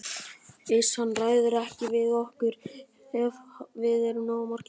Iss, hann ræður ekki við okkur ef við erum nógu margir.